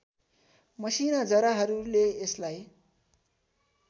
मसिना जराहरूले यसलाई